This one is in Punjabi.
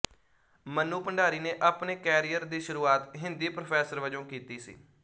ਮੰਨੂ ਭੰਡਾਰੀ ਨੇ ਆਪਣੇ ਕੈਰੀਅਰ ਦੀ ਸ਼ੁਰੂਆਤ ਹਿੰਦੀ ਪ੍ਰੋਫੈਸਰ ਵਜੋਂ ਕੀਤੀ ਸੀ